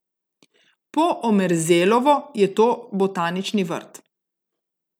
Po Omerzelovo je to botanični vrt.